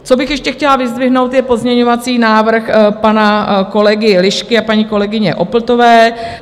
Co bych ještě chtěla vyzdvihnout, je pozměňovací návrh pana kolegy Lišky a paní kolegyně Opltové.